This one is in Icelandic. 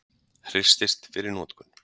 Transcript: Hristist fyrir notkun.